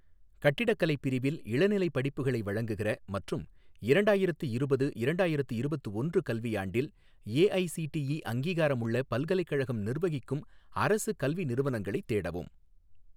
கட்டிடக்கலை பிரிவில் இளநிலைப் படிப்புகளை வழங்குகிற மற்றும் இரண்டாயிரத்து இருபது இரண்டாயிரத்து இருபத்து ஒன்று கல்வியாண்டில் ஏஐசிடிஇ அங்கீகாரமுள்ள பல்கலைக்கழகம் நிர்வகிக்கும் அரசு கல்வி நிறுவனங்களைத் தேடவும்